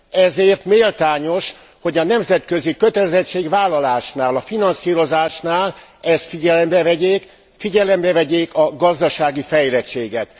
Ezért méltányos, hogy a nemzetközi kötelezettségvállalásnál, a finanszírozásnál ezt figyelembe vegyék, figyelembe vegyék a gazdasági fejlettséget.